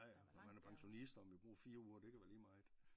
Ej når man er pensionist og om vi bruger 4 uger det kan være lige meget